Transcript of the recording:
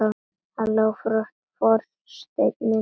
Halló forseti minn!